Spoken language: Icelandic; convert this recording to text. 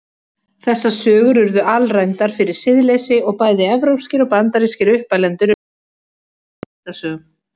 Þessar sögur urðu alræmdar fyrir siðleysi og bæði evrópskir og bandarískir uppalendur urðu mótfallnir myndasögum.